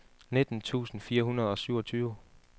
nitten tusind fire hundrede og syvogtyve